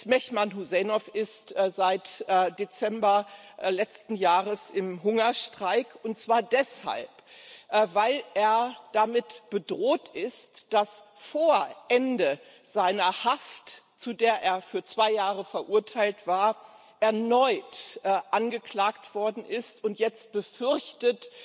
Mehman Hüseynov ist seit Dezember letzten Jahres im Hungerstreik, und zwar deshalb, weil er damit bedroht ist, vor Ende seiner Haft, zu der er für zwei Jahre verurteilt war, erneut angeklagt zu werden, und jetzt befürchtet,